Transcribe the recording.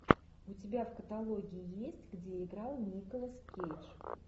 у тебя в каталоге есть где играл николас кейдж